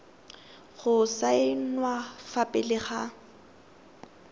go saenwa fa pele ga